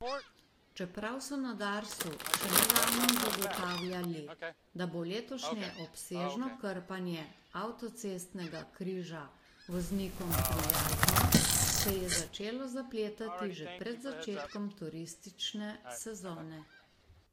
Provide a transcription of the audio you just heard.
Čeprav so na Darsu še nedavno zagotavljali, da bo letošnje obsežno krpanje avtocestnega križa voznikom prijazno, se je začelo zapletati že pred začetkom turistične sezone.